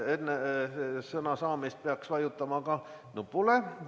Enne sõna saamist peaks vajutama nupule.